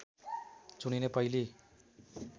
चुनिने पहिली